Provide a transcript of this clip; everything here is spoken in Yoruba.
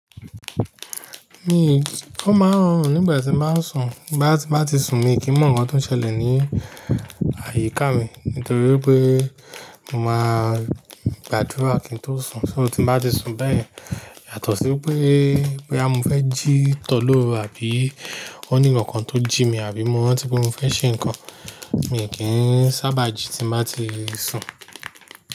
Mi omáa n rọrùn nígbà tí nba sùn, bí bá tí nbá ti sùn mi, kí mọ̀ nǹkan tó ń ṣẹlẹ̀ ní àyíká mi. Nítorí pé mo máa gbàdúrà kí n tó sùn, so tí nba ti sùn bẹ́ẹ̀ yẹn, yàtọ̀ sí pé boya mofe jí tó lóru àbí ó ní ǹkannkan ti o jí mi àbí mo rántí pé mo fẹ́ ṣe ǹkan, mi kì í sábà jí tí nba ti sùn.